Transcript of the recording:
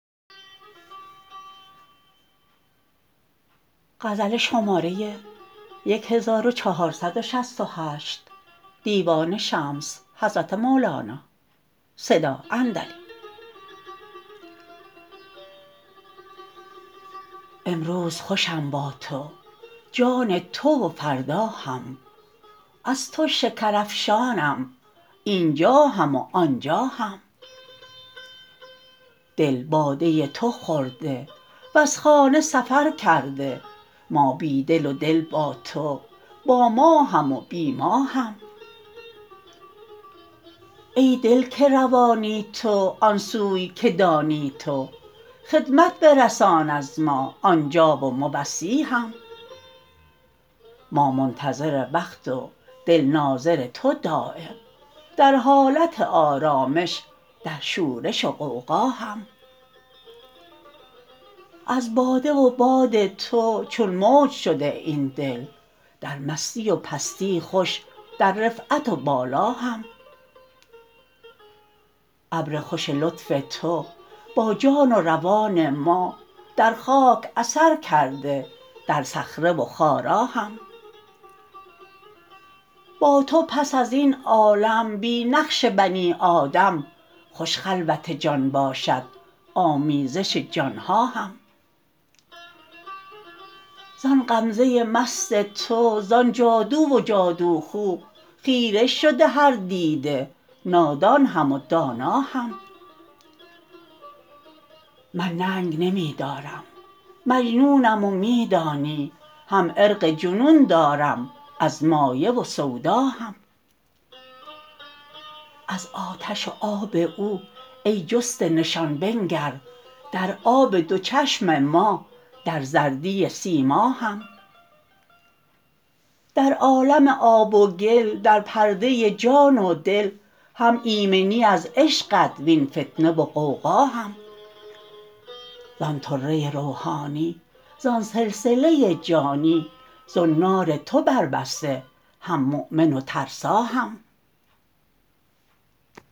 امروز خوشم با تو جان تو و فردا هم از تو شکرافشانم این جا هم و آن جا هم دل باده تو خورده وز خانه سفر کرده ما بی دل و دل با تو با ما هم و بی ما هم ای دل که روانی تو آن سوی که دانی تو خدمت برسان از ما آن جا و موصی هم ما منتظر وقت و دل ناظر تو دایم در حالت آرامش در شورش و غوغا هم از باده و باد تو چون موج شده این دل در مستی و پستی خوش در رفعت و بالا هم ابر خوش لطف تو با جان و روان ما در خاک اثر کرده در صخره و خارا هم با تو پس از این عالم بی نقش بنی آدم خوش خلوت جان باشد آمیزش جان ها هم زآن غمزه مست تو زآن جادو و جادوخو خیره شده هر دیده نادان هم و دانا هم من ننگ نمی دارم مجنونم و می دانی هم عرق جنون دارم از مایه و سودا هم از آتش و آب او ای جسته نشان بنگر در آب دو چشم ما در زردی سیما هم در عالم آب و گل در پرده جان و دل هم ایمنی از عشقت وین فتنه و غوغا هم زان طره روحانی زان سلسله جانی زنار تو بر بسته هم مؤمن و ترسا هم